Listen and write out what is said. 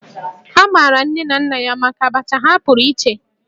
A maara nne na nna ya maka Abacha ha pụrụ iche